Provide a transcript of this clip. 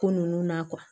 Ko nunnu na